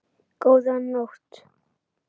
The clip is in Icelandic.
Góða nótt.